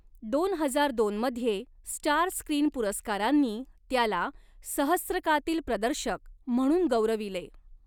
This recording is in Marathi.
दोन हजार दोन मध्ये स्टार स्क्रीन पुरस्कारांनी त्याला 'सहस्त्रकातील प्रदर्शक' म्हणून गौरविले.